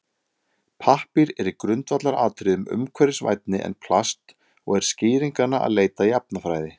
Pappír er í grundvallaratriðum umhverfisvænni en plast og er skýringanna að leita í efnafræði.